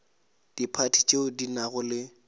diphathi tšeo di nago le